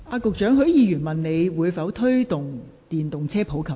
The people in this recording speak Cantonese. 局長，許議員詢問當局會否推動電動車普及化。